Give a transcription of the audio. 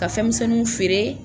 Ka fɛnmisɛnninw feere.